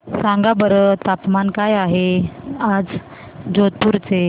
सांगा बरं तापमान काय आहे आज जोधपुर चे